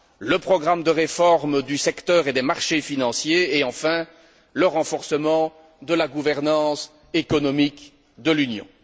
le programme de réforme du secteur et des marchés financiers et, enfin, le renforcement de la gouvernance économique de l'Union.